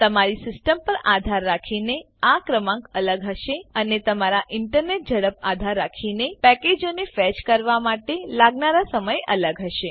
તમારી સીસ્ટમ પર આધાર રાખીને આ ક્રમાંક અલગ હશે અને તમારા ઇન્ટરનેટ ઝડપ પર આધાર રાખીને પેકેજોને ફેચ કરવાં માટે લાગનાર સમય અલગ હશે